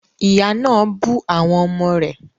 Ìyá náà bú àwọn ọmọ rẹ̀